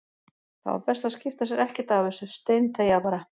Það var best að skipta sér ekkert af þessu, steinþegja bara.